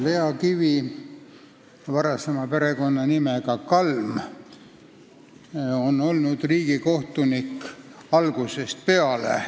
Lea Kivi, varasema perekonnanimega Kalm, on olnud riigikohtunik algusest peale.